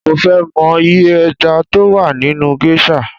Mo ń fẹ mọ iye ẹja tó wà nínú géṣà